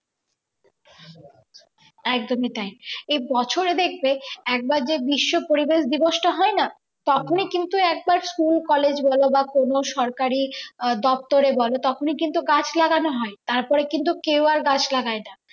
একদম তাই এই বছরে দেখবে একবার যে বিশ্ব পরিবেশ দিবসটা হয় না তখনই কিন্তু একবার school college বলো বা কোন সরকারি দপ্তরে বোলো তখনই কিন্তু গাছ লাগানো হয় তারপরে কিন্তু কেউ আর গাছ লাগায় না।